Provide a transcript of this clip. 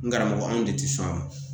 N karamɔgɔ anw de ti sɔn a ma